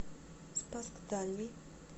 спасск дальний